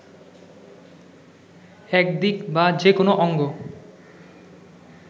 একদিক বা যেকোনো অঙ্গ